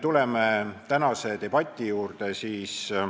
Tuleme tänase debati juurde.